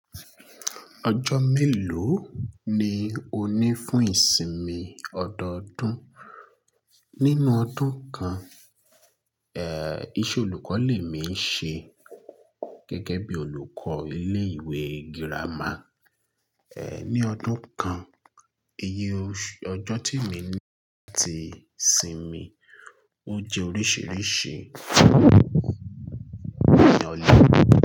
Ọjọ́ mélòó ni o ní fún ìsinmi ọdọọdún? Nínú ọdún kan, eh, iṣẹ́ olùkọ́ lè mi ṣe gẹ́gẹ́ bí olùkọ́ ilé ìwé girama, eh, ní ọdún kan, iye ọjọ́ tí mo ní láti sinmi ó jẹ́ oríṣiríṣi ní ọdún.